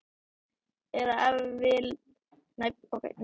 Eða ef til vill óttaðist hún svörin.